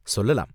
சொல்லலாம்.